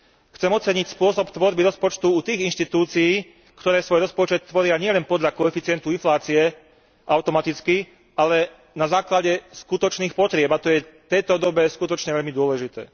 Chcem oceniť spôsob vytvárania rozpočtu u tých inštitúcií, ktoré svoj rozpočet tvoria nielen podľa koeficientu inflácie automaticky, ale na základe skutočných potrieb, a to je v tejto dobe skutočne veľmi dôležité.